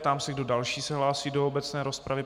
Ptám se, kdo další se hlásí do obecné rozpravy.